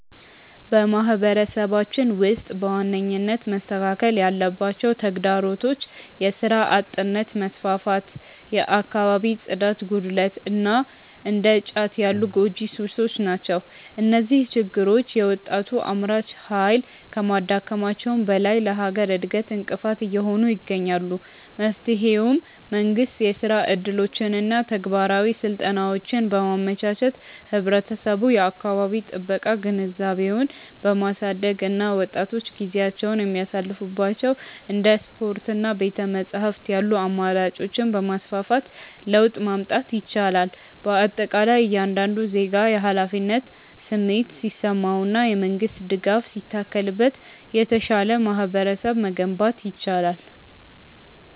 በማህበረሰባችን ውስጥ በዋነኝነት መስተካከል ያለባቸው ተግዳሮቶች የሥራ አጥነት መስፋፋት፣ የአካባቢ ጽዳት ጉድለት እና እንደ ጫት ያሉ ጎጂ ሱሶች ናቸው። እነዚህ ችግሮች የወጣቱን አምራች ኃይል ከማዳከማቸውም በላይ ለሀገር እድገት እንቅፋት እየሆኑ ይገኛሉ። መፍትሄውም መንግስት የሥራ ዕድሎችንና ተግባራዊ ስልጠናዎችን በማመቻቸት፣ ህብረተሰቡ የአካባቢ ጥበቃ ግንዛቤውን በማሳደግ እና ወጣቶች ጊዜያቸውን የሚያሳልፉባቸው እንደ ስፖርትና ቤተ-መጻሕፍት ያሉ አማራጮችን በማስፋፋት ለውጥ ማምጣት ይቻላል። በአጠቃላይ እያንዳንዱ ዜጋ የኃላፊነት ስሜት ሲሰማውና የመንግስት ድጋፍ ሲታከልበት የተሻለ ማህበረሰብ መገንባት ይቻላል።